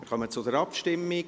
Wir kommen zur Abstimmung.